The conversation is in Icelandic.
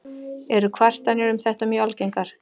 Eru kvartanir um þetta mjög algengar.